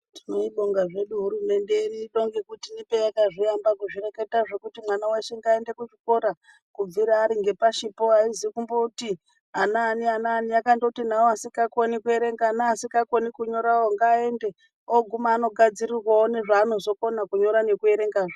Tinoibonga zvedu hurumende yedu ino ngekuti payakazviamba kuzvireketa zvekuti mwana weshe ngaaende kuchikora kubvira ari ngepashipo aazi kumboti anaani anaani yakandoti nawo asikakoni kuerenga neasikakoni kunyorawo ngaende ooguma anogadzirirwawo zvaanozokona kunyora nekuerenga.